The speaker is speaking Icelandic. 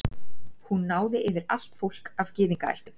hún náði yfir allt fólk af gyðingaættum